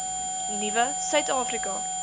nuwe suid afrika